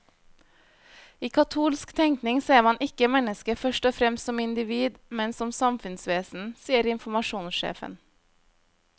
I katolsk tenkning ser man ikke mennesket først og fremst som individ, men som samfunnsvesen, sier informasjonssjefen.